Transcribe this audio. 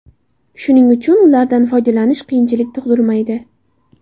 Shuning uchun ulardan foydalanish qiyinchilik tug‘dirmaydi.